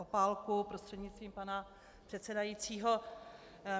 Opálku prostřednictvím pana předsedajícího.